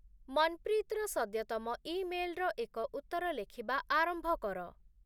ମନପ୍ରୀତର ସଦ୍ୟତମ ଇମେଲର ଏକ ଉତ୍ତର ଲେଖିବା ଆରମ୍ଭ କର